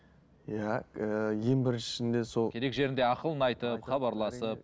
иә ііі ең біріншісінде сол керек жерінде ақылын айтып